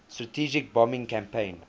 strategic bombing campaign